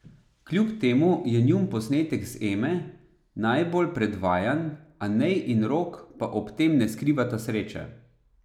Kljub temu je njun posnetek z Eme najbolj predvajan, Anej in Rok pa ob tem ne skrivata sreče.